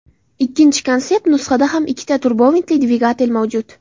Ikkinchi konsept nusxada ham ikkita turbovintli dvigatel mavjud.